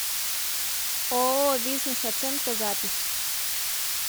ооо бизнес оценка запись